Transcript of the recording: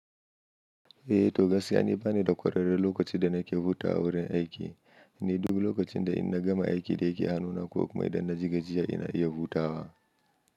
Eh to gas yani bani da kwararre lokacin da nake hutawa a wurin aiki, ni duk lokacin da in na gama aiki da yake hannuna ko kuma idan na ji gajiya ina iya hutawa.